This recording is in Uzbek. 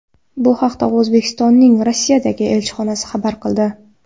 Bu haqda O‘zbekistonning Rossiyadagi elchixonasi xabar qildi.